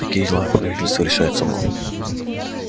в таких делах правительство решает само